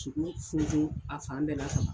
Tugu funfun a fan bɛɛ la ka ban.